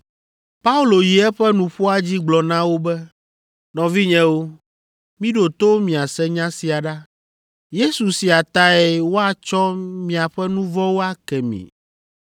Paulo yi eƒe nuƒoa dzi gblɔ na wo be, “Nɔvinyewo, miɖo to miase nya sia ɖa. Yesu sia tae woatsɔ miaƒe nu vɔ̃wo ake mi.